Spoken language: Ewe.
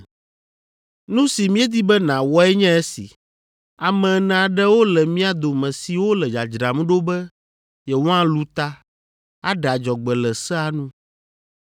“Nu si míedi be nàwɔe nye esi, ame ene aɖewo le mía dome siwo le dzadzram ɖo be yewoalũ ta, aɖe adzɔgbe le sea nu,